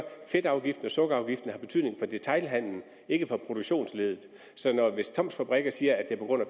fedtafgiften og sukkerafgiften betydning for detailhandelen ikke for produktionsleddet så hvis toms fabrikker siger at det er på grund af